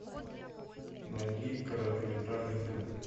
найди короткометражный фильм